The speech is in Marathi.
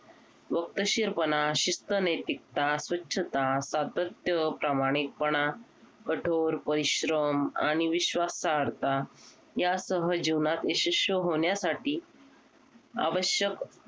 वक्रशीरपणा शिध्दनैतिकता स्वच्छता सातत्य प्रामाणिकपणा कठोर परिश्रम आणि विश्वासहर्ता या सहजीवनात यशस्व होण्यासाठी आवश्यक